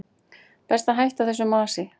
Best að hætta þessu masi.